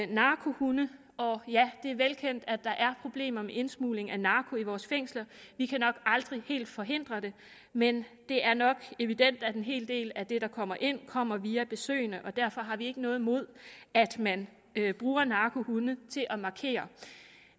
narkohunde og ja det er velkendt at der er problemer med indsmugling af narko i vores fængsler vi kan nok aldrig helt forhindre det men det er nok evident at en hel del af det der kommer ind kommer ind via besøgende og derfor har vi ikke noget imod at man bruger narkohunde til at markere